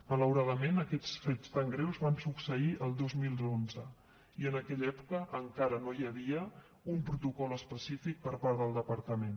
malauradament aquests fets tan greus van succeir el dos mil onze i en aquella època encara no hi havia un protocol específic per part del departament